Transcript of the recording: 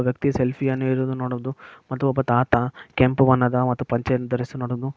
ಒಬ್ಬ ವ್ಯಕ್ತಿ ಸೆಲ್ಫಿಯನ್ನು ಹಿಡಿದಿವುನ್ ನೋಡುವುದು ಮತ್ತು ಒಬ್ಬ ತಾತ ಕೆಂಪು ಬಣ್ಣದ ಪಂಚೆಯನ್ನ ಧರಿಸಿರುವುದನ್ನು --